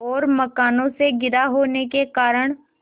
और मकानों से घिरा होने के कारण